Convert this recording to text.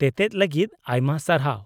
-ᱛᱮᱛᱮᱫ ᱞᱟᱹᱜᱤᱫ ᱟᱭᱢᱟ ᱥᱟᱨᱦᱟᱣ ᱾